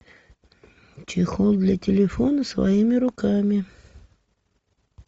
чехол для телефона своими руками